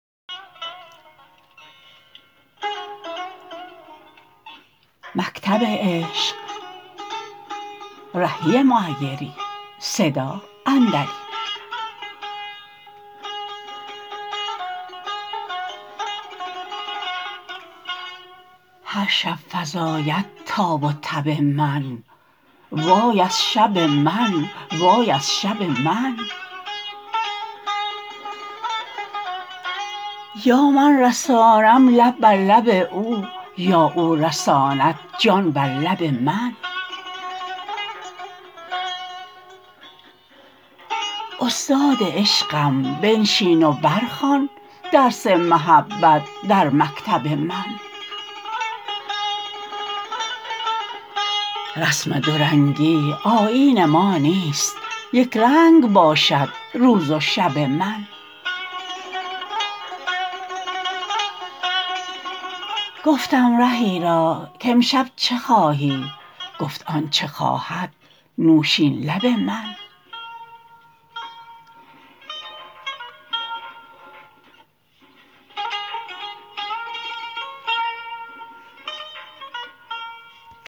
هرشب فزاید تاب و تب من وای از شب من وای از شب من یا من رسانم لب بر لب او یا او رساند جان بر لب من استاد عشقم بنشین و برخوان درس محبت در مکتب من رسم دورنگی آیین ما نیست یکرنگ باشد روز و شب من گفتم رهی را کامشب چه خواهی گفت آنچه خواهد نوشین لب من